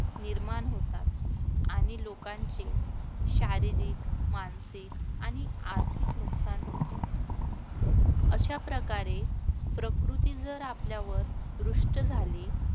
निर्माण होतात आणि लोकांचे शारीरिक, मानसिक आणि आर्थिक नुकसान होते. अशा प्रकारे प्रकृती जर आपल्यावर रुष्ट झाली